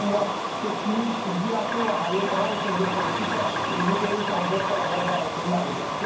Keçmiş iddiaçı Xəlil Rountree göstəricisi isə 20 döyüş, 14 qələbə və altı məğlubiyyətidir.